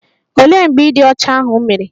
Olee mgbe ịdị ọcha ahụ mere?